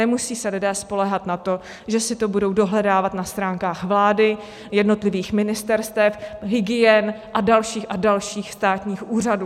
Nemusejí se lidé spoléhat na to, že si to budou dohledávat na stránkách vlády, jednotlivých ministerstev, hygien a dalších a dalších státních úřadů.